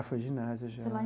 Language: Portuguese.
Ah, foi ginásio, já.